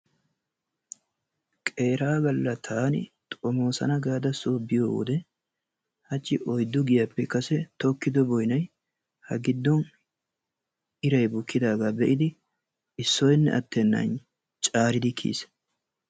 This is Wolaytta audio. Qeeraa galla taani xomoosana gaada soo biyo wode hachchi oyddu giyaappe kase tokkido boynay ha giddon iray bukkidaagaa be'idi issoynne attennan caaridi kiyiis.